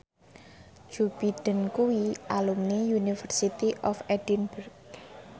Joe Biden kuwi alumni University of Edinburgh